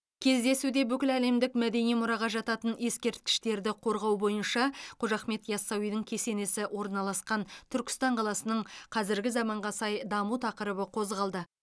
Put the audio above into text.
кездесуде бүкіләлемдік мәдени мұраға жататын ескерткіштерді қорғау бойынша қожа ахмет яссауидің кесенесі орналасқан түркістан қаласының қазіргі заманға сай даму тақырыбы қозғалды